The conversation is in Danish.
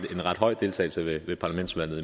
det synes vi det